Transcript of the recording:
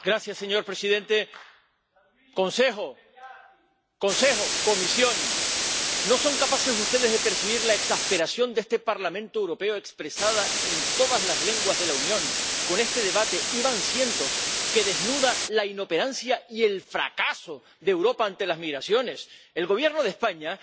Señor presidente, señores del Consejo, señores de la Comisión, ¿no son capaces ustedes de percibir la exasperación de este Parlamento Europeo, expresada en todas las lenguas de la Unión con este debate —y van cientos—, que desnuda la inoperancia y el fracaso de Europa ante las migraciones? El Gobierno de España